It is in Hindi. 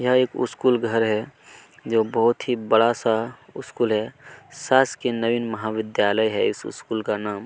यहाँ एक स्कूल घर है जो की बहुत ही बड़ा सा स्कूल है शासकीय नवीन महाविद्यालय है इस स्कूल का नाम --